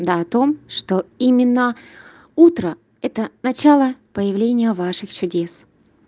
да о том что именно утро это начало появления ваших чудес